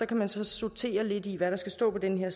kan der så sorteres lidt i hvad der skal stå på den